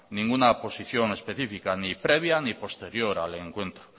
ninguna posición específica ni previa ni posterior al encuentro